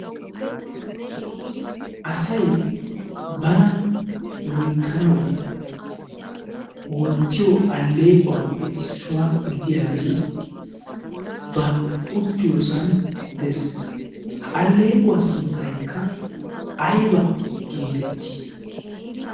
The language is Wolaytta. asay bana loyttanawu woottiyo alleequwaappe issuwaa gidiyaagee ba uttiyoosan dees ha alleequwaa sunttaykka ayba geetettii